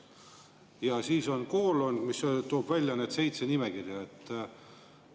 Ja siis on koolon,.